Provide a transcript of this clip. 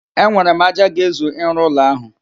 Enwere m ájá ga-ezu ịrụ ụlọ ahụ